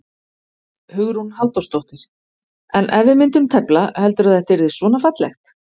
Hugrún Halldórsdóttir: En ef við myndum tefla, heldurðu að þetta yrði svona fallegt?